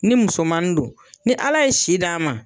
Ni musomanni don, ni Ala ye si d'a ma